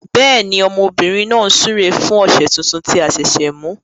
Bẹẹni, ọmọbìnrin náà ń súre fún ọ̀sẹ̀ tuntun tí a ṣẹ̀ṣẹ̀ mú.